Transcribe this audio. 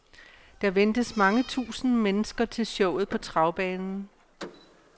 Der ventes mange tusinde mennesker til showet på travbanen.